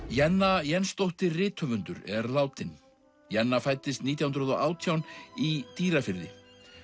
Jenna Jensdóttir rithöfundur er látin Jenna fæddist nítján hundruð og átján í Dýrafirði